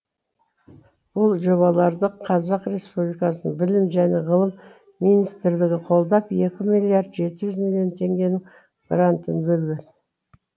ол жобаларды қазақ республикасының білім және ғылым министрлігі қолдап екі миллиард жеті жүз миллион теңгенің грантын бөлген